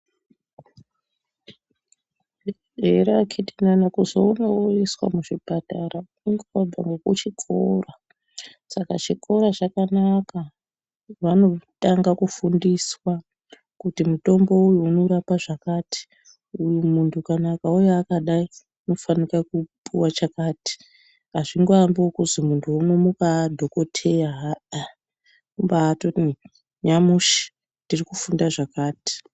Ere akhiti nana kuzoona woiswa muchipatara kunge wabva nekuchikora saka chikora chakanaka. Vanotanga kufundiswa kuti mutombo uyu unorapa zvakati uyu muntu akauya akadai unofanika kupiwa chakati hazvingoambi nekuti muntu unomuka adhokhoteya kunyati nyamushi tiri kufunda zvakati.